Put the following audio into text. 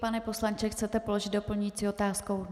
Pane poslanče, chcete položit doplňující otázku?